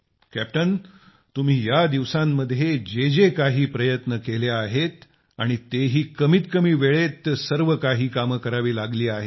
captain तुम्ही या दिवसांमध्ये जे जे काही प्रयत्न केले आहेत आणि तेही कमीत कमी वेळेत सर्वकाही कामे करावी लागली आहेत